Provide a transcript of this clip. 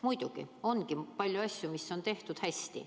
Muidugi ongi palju asju, mis on tehtud hästi.